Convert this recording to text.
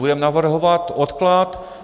Budeme navrhovat odklad.